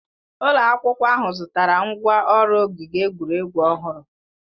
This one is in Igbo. Ụlọ akwụkwọ ahụ zụtara ngwá ọrụ ogige egwuregwu ọhụrụ.